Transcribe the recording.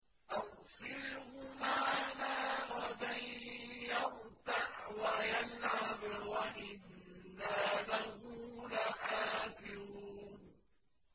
أَرْسِلْهُ مَعَنَا غَدًا يَرْتَعْ وَيَلْعَبْ وَإِنَّا لَهُ لَحَافِظُونَ